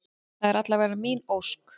Það er alla vega mín ósk.